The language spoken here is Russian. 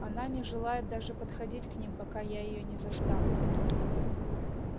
она не желает даже подходить к ним пока я её не заставлю